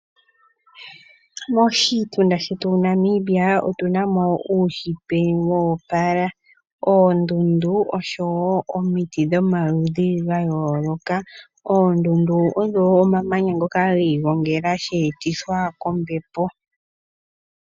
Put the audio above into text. Moshitunda shetu Namibia otu namo uushitwe woopala oondundu oshowo imiti dhomaludhi gayooloka ,oondundu odho omamanya ngoka giigongela sheetithwa kombepo.